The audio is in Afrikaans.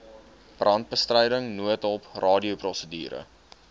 brandbestryding noodhulp radioprosedure